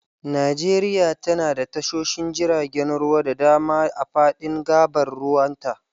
Najeriya tana da tashoshin jiragen ruwa da dama a fadin gabar ruwanta.